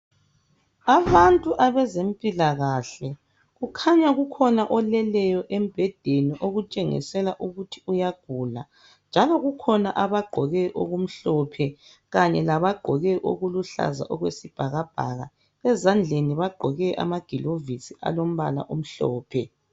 Abantu bezempilakahle. Kukhanya kukhona oleleyo embhedeni okutshengisela ukuthi uyagula. Njalo kukhona abagqoke okumhlophe kanye labaggqoke okuluhlaza okwesibhakabhaka. Ezandleni bagqoke amagilovisi alombala omhlophe.